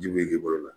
Ji be bolo